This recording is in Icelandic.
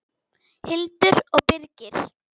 Hildur og Birgir.